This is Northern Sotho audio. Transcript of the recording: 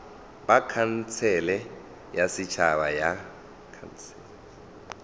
ba khansele ya setšhaba ya